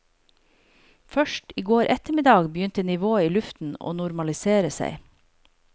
Først i går ettermiddag begynte nivået i luften å normalisere seg.